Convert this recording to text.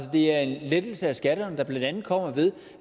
det er en lettelse af skatterne der blandt andet kommer ved